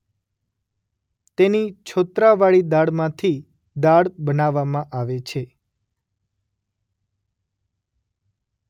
તેની છોત્રાવાળી દાળમાંથી દાળ બનાવવામાં આવે છે.